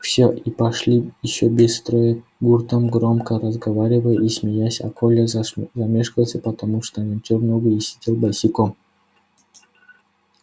все и пошли ещё без строя гуртом громко разговаривая и смеясь а коля замешкался потому что натёр ногу и сидел босиком